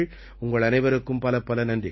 உங்கள் அனைவருக்கும் பலப்பல நன்றிகள்